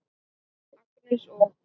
Agnes og